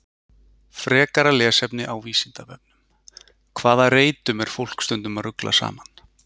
Frekara lesefni á Vísindavefnum: Hvaða reytum er fólk stundum að rugla saman?